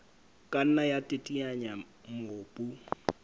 ka nna ya teteanya mobu